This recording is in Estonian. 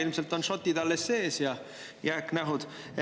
Ilmselt on shot'id alles sees ja on jääknähud.